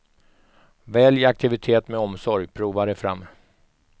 Välj aktivitet med omsorg, prova dig fram.